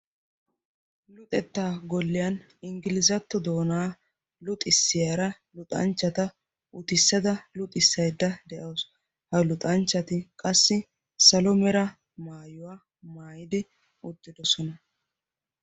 Luxettaa golliyan ingilzzatto doonaa luxissiyaara luxanchchata utissada luxissaydda de"awus. Ha luxanchchati qassi salo mera maayuwa maayidi uttidosona.